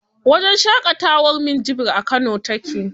Wajen shaƙatawar minjibir a kano take.